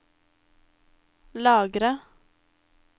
lagre